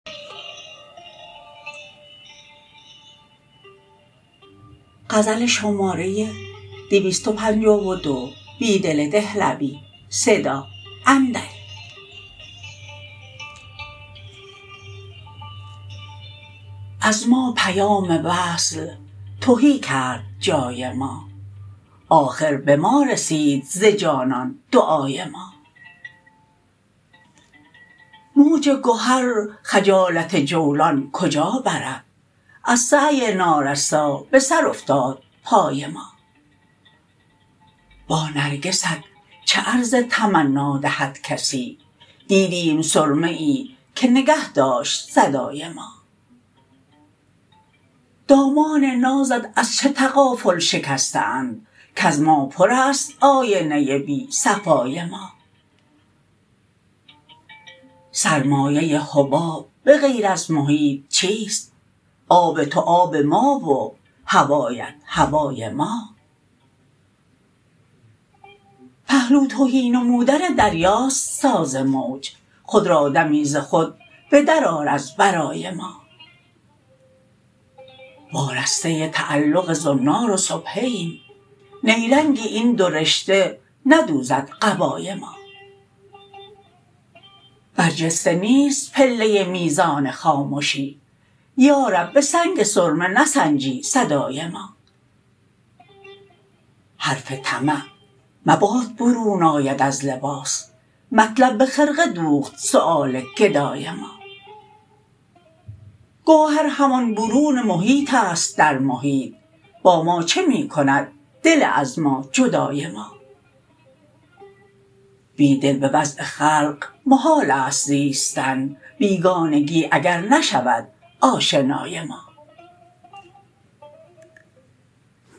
از ما پیام وصل تهی کرد جای ما آخر به ما رسید ز جانان دعای ما موج گهر خجالت جولان کجا برد از سعی نارسا به سر افتاد پای ما با نرگست چه عرض تمنا دهدکسی دیدیم سرمه ای که نگه شد صدای ما دامان نازت از چه تغافل شکسته اند کز ما پر است آینه بی صفای ما سرمایه حباب به غیر از محیط چیست آب توآب ما و هوایت هوای ما پهلو تهی نمودن دریاست ساز موج خود را دمی ز خود بدر آر از برای ما وارسته تعلق زنار و سبحه ایم نیرنگ این دو رشته ندوزد قبای ما برجسته نیست پله میزان خامشی یارب به سنگ سرمه نسنجی صدای ما حرف طمع مباد برون آید از لباس مطلب به خرقه دوخت سیوال گدای ما گوهر همان برون محیط است درمحیط با ما چه می کند دل از ما جدای ما بیدل به وضع خلق محال است زیستن بیگانگی اگر نشود آشنای ما